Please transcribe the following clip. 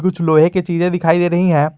कुछ लोहे की चीजे दिखाई दे रही है।